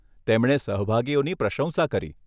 તેમણે સહભાગીઓની પ્રશંસા કરી.